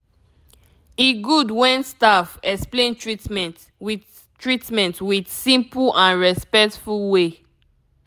e good when staff explain treatment with treatment with simple and respectful way